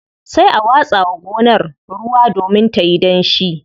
Sai a watsa wa gonar ruwa domin tayi danshi.